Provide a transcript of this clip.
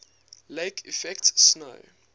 lake effect snow